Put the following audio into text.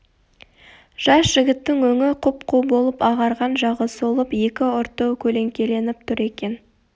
жас жігіттің өңі құп-қу болып ағарған жағы солып екі ұрты көлеңкеленіп тұр екен